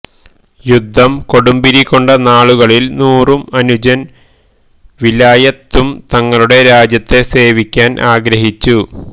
യുദ്ധം കൊടുമ്പിരികൊണ്ട നാളുകളിൽ നൂറും അനുജൻ വിലായത്ത് ഉം തങ്ങളുടെ രാജ്യത്തെ സേവിക്കാൻ ആഗ്രഹിച്ചു